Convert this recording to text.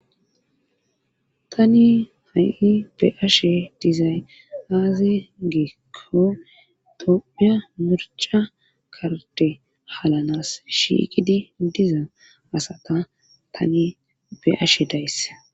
tani ha7i be'iashe dizay aaze giikko tophiya mirca karde halanas shiikidi diza asata tani be'ashe days